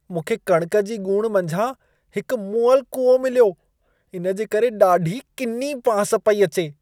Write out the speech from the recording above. मूंखे कणिक जी ॻूण मंझां हिकु मुअलु कूओ मिलियो। इन जे करे ॾाढी किनी बांस पेई अचे।